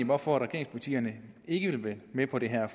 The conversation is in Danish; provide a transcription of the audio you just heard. hvorfor regeringspartierne ikke vil være med på det her